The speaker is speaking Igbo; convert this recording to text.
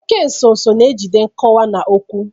Oke nso nso na-ejide nkọwa na okwu.